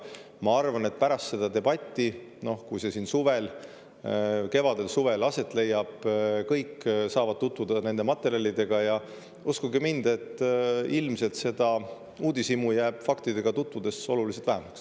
Ma arvan, et pärast seda, kui see debatt siin kevadel-suvel aset leiab, saavad kõik tutvuda nende materjalidega, ja uskuge mind, ilmselt jääb seda uudishimu faktidega tutvudes oluliselt vähemaks.